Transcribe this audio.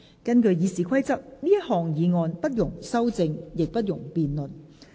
根據《議事規則》，這項議案不容修正，亦不容辯論。